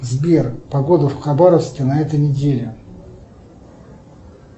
сбер погода в хабаровске на этой неделе